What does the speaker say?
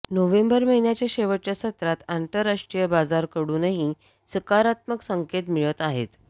November महिन्याच्या शेवटच्या सत्रात आंतरराष्ट्रीय बाजाराकडूनही सकारात्मक संकेत मिळत आहेत